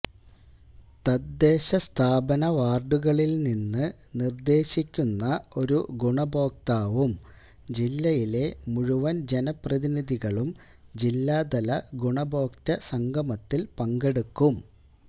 തദേശസ്ഥാപന വാര്ഡുകളില് നിന്ന് നിര്ദേശിക്കുന്ന ഒരു ഗുണഭോക്താവും ജില്ലയിലെ മുഴുവന് ജനപ്രതിനിധികളും ജില്ലാതല ഗുണഭോക്തൃ സംഗമത്തില് പങ്കെടുക്കും